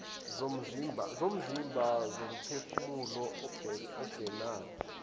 zomzimba nomphefumulo ubenade